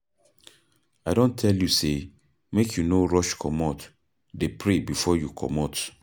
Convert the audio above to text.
I don tell you sey make you no rush comot, dey pray before you comot.